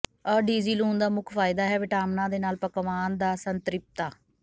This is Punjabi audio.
ਅਡੀਜੀ ਲੂਣ ਦਾ ਮੁੱਖ ਫਾਇਦਾ ਹੈ ਵਿਟਾਮਿਨਾਂ ਦੇ ਨਾਲ ਪਕਵਾਨ ਦਾ ਸੰਤ੍ਰਿਪਤਾ